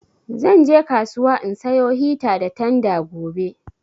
Zan je kasuwa in sayo hita da tanda gobe